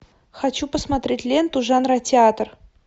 хочу посмотреть ленту жанра театр